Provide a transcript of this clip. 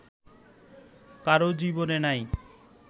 কারো জীবনে নাই